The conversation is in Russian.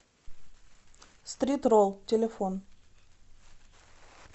стрит рол телефон